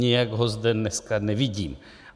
Nijak ho zde dneska nevidím.